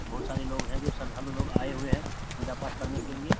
बहुत सारे लोग है जो श्रद्धालु लोग आए हुए है पूजा पाठ करने के लिए |